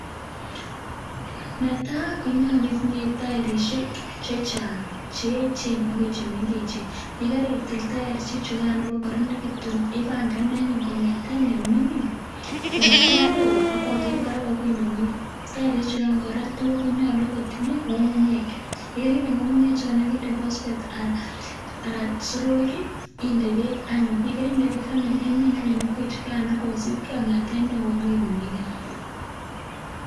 Netaa konyokuu itinyee toirusheek chejaang cheechen akoi chemengechen yekaritil toirusheek chukaan ibokokoronekituun ibangan anyun kongeteen neoo yoker barak akoi nimingin toirishek chukaan korak konyoluu kotinyee ngungunyeek yekorindee ngungunyeek indee pospet alan soroek ii indee beek anyun yekerindee beek imiin anyun ingwechukaano kosibkee kongeteen neo akoii nemingin